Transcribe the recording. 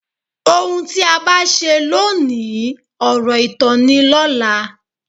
Ohun tí a bá ṣe ló òní, ọ̀rọ̀ ìtàn ni lọ́la.